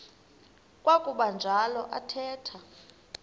kwakuba njalo athetha